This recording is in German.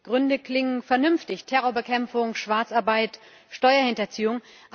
Die Gründe klingen vernünftig Terrorbekämpfung, Schwarzarbeit, Steuerhinterziehung.